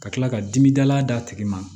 Ka tila ka dimi dala d'a tigi ma